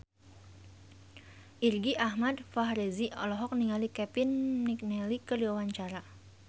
Irgi Ahmad Fahrezi olohok ningali Kevin McNally keur diwawancara